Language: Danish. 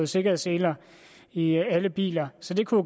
sikkerhedsseler i alle biler så det kunne